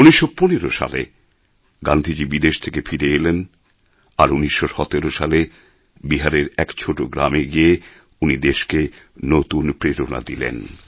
১৯১৫ সালে গান্ধীজী বিদেশ থেকে ফিরে এলেন আর ১৯১৭ সালে বিহারের এক ছোটো গ্রামে গিয়ে উনি দেশকে নতুন প্রেরণা দিলেন